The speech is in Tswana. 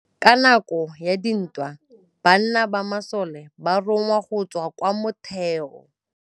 Ka nakô ya dintwa banna ba masole ba rongwa go tswa kwa mothêô.